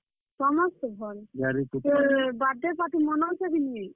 ସମସ୍ତେ ଭଲ୍ ତୋର୍ birthday party ମନଉଛ କିନି?